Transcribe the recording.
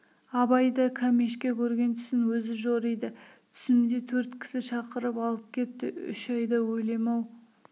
абай да кәмешке көрген түсін өзі жориды түсімде төрт кісі шақырып алып кетті үш айда өлем-ау